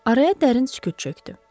Araya dərin sükut çökdü.